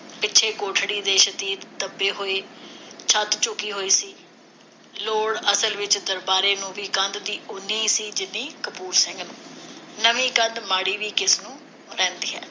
ਪਿੱਛੋਂ ਕੋਠੜੀ ਦੇ ਸ਼ਤੀਰ ਦਬੇ ਹੋਏ ਤੇ ਛੱਤ ਝੁਕੀ ਹੋਈ ਸੀ। ਲੋੜ, ਅਸਲ ਵਿਚ, ਦਰਬਾਰੇ ਨੂੰ ਵੀ ਕੰਧ ਦੀ ਓਨੀ ਹੀ ਸੀ, ਜਿੰਨੀ ਕਪੂਰ ਸਿੰਘ ਨੂੰ। ਨਵੀਂ ਕੰਧ ਮਾੜੀ ਵੀ ਕਿਸਨੂੰ ਰਹਿੰਦੀ ਹੈ?